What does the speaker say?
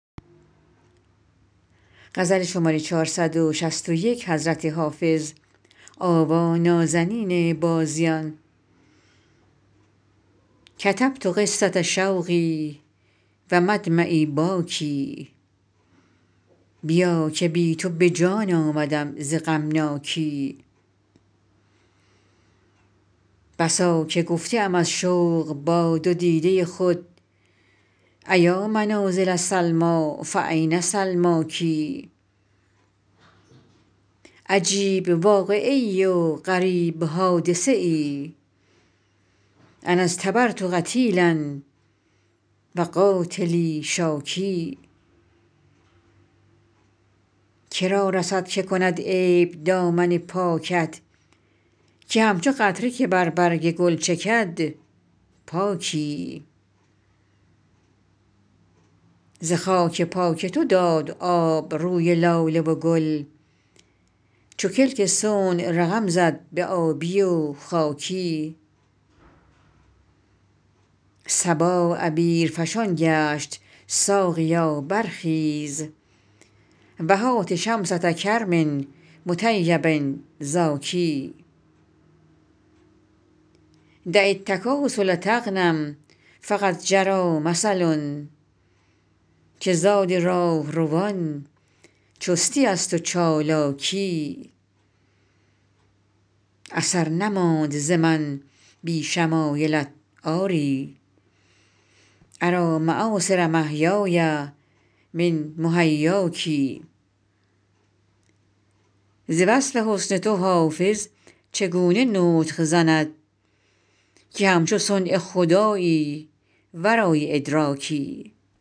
کتبت قصة شوقی و مدمعی باکی بیا که بی تو به جان آمدم ز غمناکی بسا که گفته ام از شوق با دو دیده خود أیا منازل سلمیٰ فأین سلماک عجیب واقعه ای و غریب حادثه ای أنا اصطبرت قتیلا و قاتلی شاکی که را رسد که کند عیب دامن پاکت که همچو قطره که بر برگ گل چکد پاکی ز خاک پای تو داد آب روی لاله و گل چو کلک صنع رقم زد به آبی و خاکی صبا عبیرفشان گشت ساقیا برخیز و هات شمسة کرم مطیب زاکی دع التکاسل تغنم فقد جری مثل که زاد راهروان چستی است و چالاکی اثر نماند ز من بی شمایلت آری أری مآثر محیای من محیاک ز وصف حسن تو حافظ چگونه نطق زند که همچو صنع خدایی ورای ادراکی